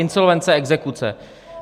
Insolvence, exekuce.